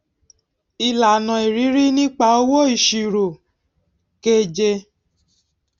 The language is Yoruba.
ìlànà ìrírí nípa owó ìṣirò keje